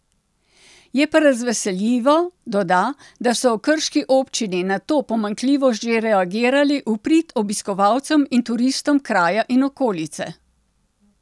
Je pa razveseljivo, doda, da so v krški občini na to pomanjkljivost že reagirali v prid obiskovalcem in turistom kraja in okolice.